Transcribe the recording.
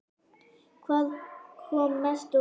Hvað kom mest á óvart?